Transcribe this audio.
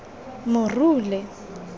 morule